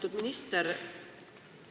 Lugupeetud minister!